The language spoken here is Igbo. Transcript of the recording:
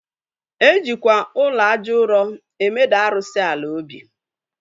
E jikwa ụlọ aja ụro emeda arụsị ala obi